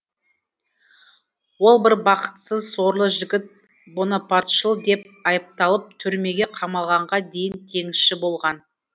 ол бір бақытсыз сорлы жігіт бонапартшыл деп айыпталып түрмеге қамалғанға дейін теңізші болған